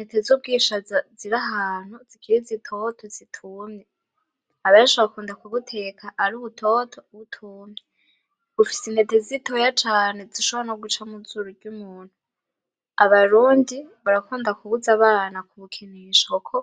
Intete z'ubwishaza zirahantu zikiri zitoto zitumye benshi bakunda kubuteka ari butoto butumye, bufis intete zitoya cane zishobora noguca mwizuru ry'umuntu, abarundi barakunda kubuz'abana kubukinisha kuko